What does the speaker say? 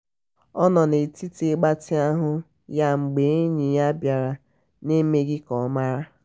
ọ nọ n'etiti ịgbatị ahụ ya mgbe enyi ya bịara na emeghị ka ọ mara.